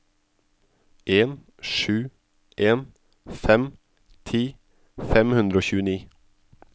en sju en fem ti fem hundre og tjueni